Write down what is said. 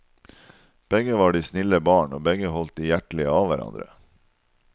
Begge var de snille barn, og begge holdt de hjertelig av hverandre.